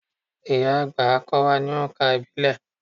Ìyá-àgbà á kọ́ wa ní oǹkà ìbílẹ̀.